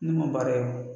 Ne ma baara ye